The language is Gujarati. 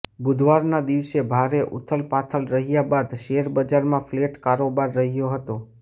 બુધવારના દિવસે ભારે ઉથલપાથલ રહ્યા બાદ શેરબજારમાં ફ્લેટ કારોબાર રહ્યો હતો